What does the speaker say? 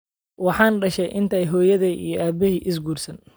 Waxaan dhashay intaanay hooyaday iyo aabahay is guursan